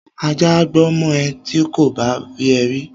Ajá á gbó mọ ẹ ti kò bá rí ẹ rí